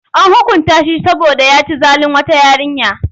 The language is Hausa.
An hukunta shi saboda ya ci zalin wata yarinya.